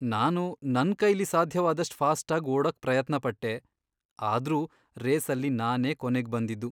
ನಾನು ನನ್ಕೈಲಿ ಸಾಧ್ಯವಾದಷ್ಟ್ ಫಾಸ್ಟಾಗ್ ಓಡೋಕ್ ಪ್ರಯತ್ನಪಟ್ಟೆ, ಆದ್ರೂ ರೇಸಲ್ಲಿ ನಾನೇ ಕೊನೇಗ್ ಬಂದಿದ್ದು.